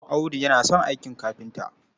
Audu yana son aikin kafinta.